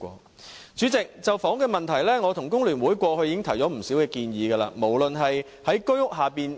代理主席，就着房屋問題，我與工聯會過去已提出不少建議，例如在居屋之下